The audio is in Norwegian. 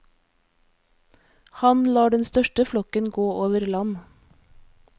Han lar den største flokken gå over land.